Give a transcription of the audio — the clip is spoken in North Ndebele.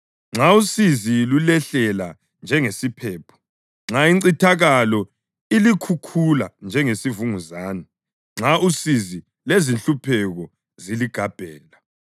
nxa usizi lulehlela njengesiphepho; nxa incithakalo ilikhukhula njengesivunguzane, nxa usizi lezinhlupheko ziligabhela.